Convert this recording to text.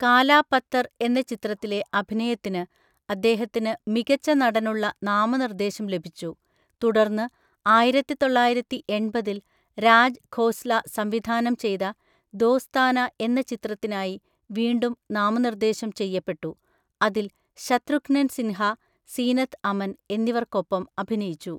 കാലാ പത്തർ എന്ന ചിത്രത്തിലെ അഭിനയത്തിന് അദ്ദേഹത്തിന് മികച്ച നടനുള്ള നാമനിർദ്ദേശം ലഭിച്ചു ,തുടർന്ന് ആയിരത്തി തൊള്ളായിരത്തി എണ്‍പതിൽ രാജ് ഖോസ്ല സംവിധാനം ചെയ്ത ദോസ്താന എന്ന ചിത്രത്തിനായി വീണ്ടും നാമനിർദ്ദേശം ചെയ്യപ്പെട്ടു, അതിൽ ശത്രുഘ്നൻ സിൻഹ, സീനത്ത് അമൻ എന്നിവർക്കൊപ്പം അഭിനയിച്ചു.